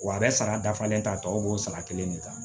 Wa a bɛ sara dafalen ta tɔ b'o sara kelen de kan